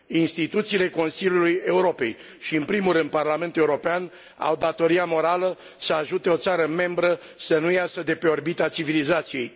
Instituțiile Consiliului Europei și în primul rând Parlamentul European au datoria morală să ajute o țară membră să nu iasă de pe orbita civilizației.